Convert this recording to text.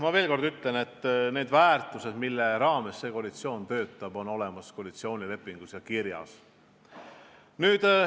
Ma veel kord ütlen, et need väärtused, mille alusel see koalitsioon töötab, on koalitsioonilepingus kirjas.